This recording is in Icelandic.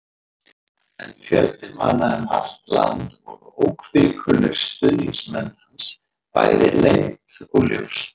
En fjöldi manna um allt land voru óhvikulir stuðningsmenn hans, bæði leynt og ljóst.